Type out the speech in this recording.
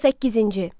18-ci.